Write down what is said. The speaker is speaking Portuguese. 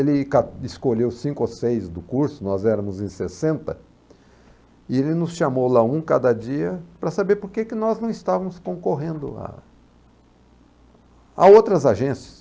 Ele ca escolheu cinco ou seis do curso, nós éramos em sessenta, e ele nos chamou lá um cada dia para saber por que nós não estávamos concorrendo a a outras agências.